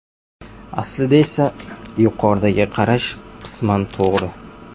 Aslida esa: Yuqoridagi qarash qisman to‘g‘ri.